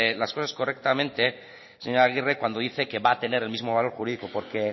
las cosas correctamente señor aguirre cuando dice que va a tener el mismo valor jurídico